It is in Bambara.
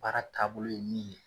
Baara taabolo ye min ye.